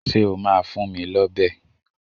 Ṣé o máa fún mi lọ́bẹ̀!